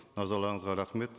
назарларыңызға рахмет